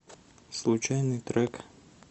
случайный трек